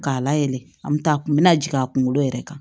K'a layɛlɛn an mi taa a kun mi na jigin a kunkolo yɛrɛ kan